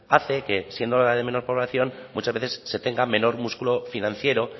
hace que siendo la de menor población muchas veces se tenga menor músculo financiero